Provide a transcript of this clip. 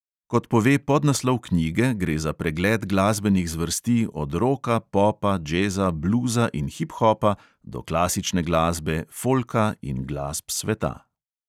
Kot pove podnaslov knjige, gre za pregled glasbenih zvrsti od roka, popa, džeza, bluza in hiphopa do klasične glasbe, folka in glasb sveta.